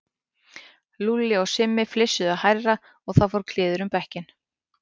Lúlli og Simmi flissuðu hærra og það fór kliður um bekkinn.